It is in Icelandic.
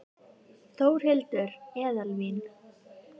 Þórhildur: Eðalvín?